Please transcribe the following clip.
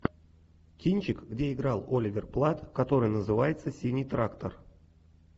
кинчик где играл оливер платт который называется синий трактор